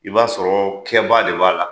I b'a sɔrɔ kɛba de b'a la